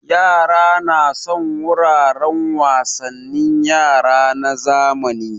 Yara na son wuraren wasannin yara na zamani